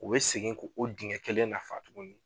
O be segin' k'o digɛn kelen nafa tuguni